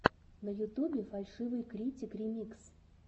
на ютубе фальшивый критик ремикс